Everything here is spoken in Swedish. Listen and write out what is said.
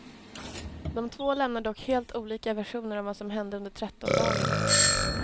De två lämnar dock helt olika versioner av vad som hände under trettondagen.